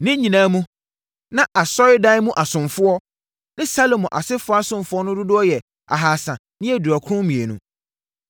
Ne nyinaa mu, na asɔredan mu asomfoɔ ne Salomo asefoɔ asomfoɔ no dodoɔ yɛ 2 392